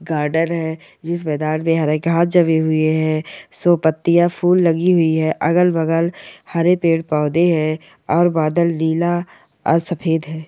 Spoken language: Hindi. गार्डन है इस मैदान में हरे घास जमे हुए हैं सोह पत्तियां फूल लगी हुई है अगल-बगल हरे पेड़ पौधे हैं और बादल नीला और सफेद है।